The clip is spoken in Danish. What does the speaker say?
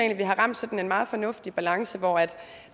at vi har ramt sådan en meget fornuftig balance hvor